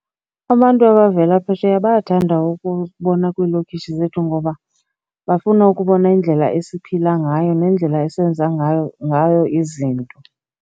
Abantu abavela phesheya bayathanda ukubona kwiilokishi zethu ngoba bafuna ukubona indlela esiphila ngayo nendlela esenza ngayo ngayo izinto.